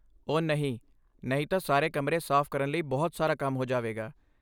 ਓਹ ਨਹੀਂ, ਨਹੀਂ ਤਾਂ ਸਾਰੇ ਕਮਰੇ ਸਾਫ਼ ਕਰਨ ਲਈ ਬਹੁਤ ਸਾਰਾ ਕੰਮ ਹੋ ਜਾਵੇਗਾ!